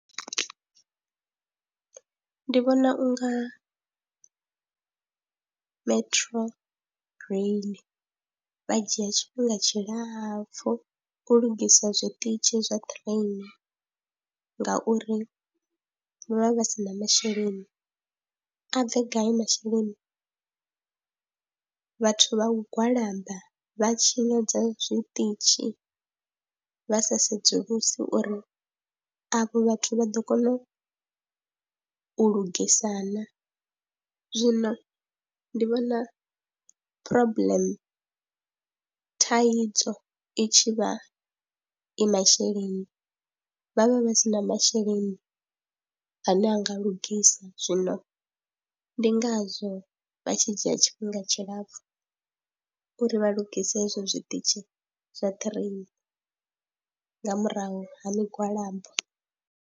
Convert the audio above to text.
Ndi vhona u nga Metrorail vha dzhia tshifhinga tshilapfhu u lugisa zwiṱitshi zwa ṱireni ngauri vha vha si na masheleni, a bve gai masheleni, vhathu vha u gwalaba vha tshinyadza zwiṱitshi vha sa sedzulusi uri avho vhathu vha ḓo kona u u lugisa na, zwino ndi vhona problem, thaidzo i tshi vha i masheleni vha vha vha si na masheleni ane a nga lugisa, zwino ndi ngazwo vha tshi dzhia tshifhinga tshilapfhu uri vha lungise hezwo zwiṱitshi zwa ṱhireni nga murahu ha migwalabo.